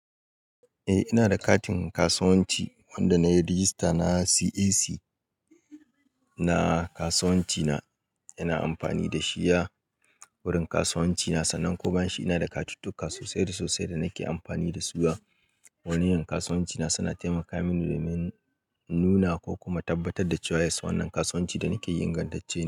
Eh, ina da katin kasuwanci wanda na yi rijista na CAC. Na kasuwanci na, ina amfani da shi a wurin kasuwanci na. Sannan kuma shi ina da katuttukan sosai da sosai da nake amfani da su a waniyan kasuwanci na, suna taimaka mini domin nuna ko kuma tabbatar da cewa ya sannan kasuwanci da nake yin in gandance.